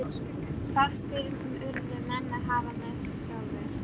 Eitthvert myrkur samt að smá fæðast í einu horninu.